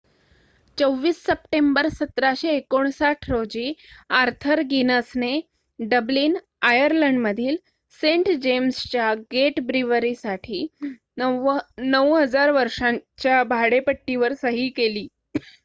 २४ September १७५९ रोजी Arthur गिनसने Dublin आयर्लंडमधील सेंट जेम्सच्या गेट ब्रीवरीसाठी ९००० वर्षांच्या भाडेपट्टीवर सही केली